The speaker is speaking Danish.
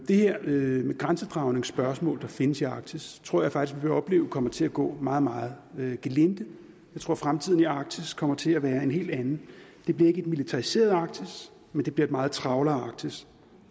det her med grænsedragningsspørgsmål der findes i arktis tror jeg faktisk vi vil opleve kommer til at gå meget meget gelinde jeg tror fremtiden i arktis kommer til at være en helt anden det bliver ikke et militariseret arktis men det bliver et meget travlere arktis